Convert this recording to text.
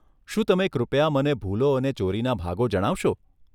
શું તમે કૃપયા મને ભૂલો અને ચોરીના ભાગો જણાવશો?